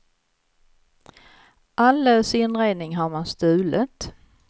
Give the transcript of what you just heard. All lös inredning har man stulit.